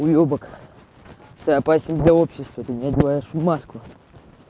уебак ты опасен для общества ты не одеваешь маску